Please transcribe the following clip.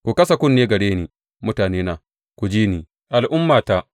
Ku kasa kunne gare ni, mutanena; ku ji ni, al’ummata.